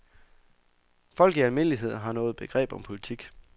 Folk i almindelighed har noget begreb om politik.